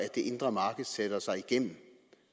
det indre marked sætter sig igennem